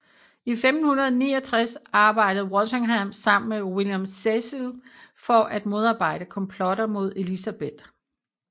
I 1569 arbejdede Walsingham sammen med William Cecil for at modarbejde komplotter mod Elizabeth